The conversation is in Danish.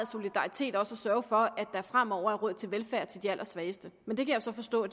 solidaritet at sørge for at der fremover er råd til velfærd til de allersvageste men det kan jeg så forstå